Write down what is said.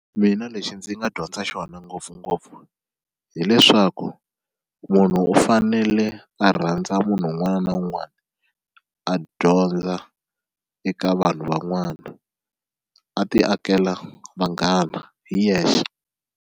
Mina lexi ndzi nga dyondza xona ngopfungopfu hileswaku munhu u fanele a rhandza munhu un'wana na un'wana a dyondza eka vanhu van'wana a ti akela vanghana hi yexe.